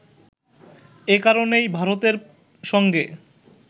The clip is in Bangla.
এ কারণেই ভারতের সঙ্গে